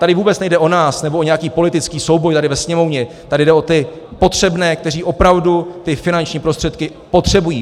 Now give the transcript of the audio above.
Tady vůbec nejde o nás nebo o nějaký politický souboj tady ve Sněmovně, tady jde o ty potřebné, kteří opravdu ty finanční prostředky potřebují.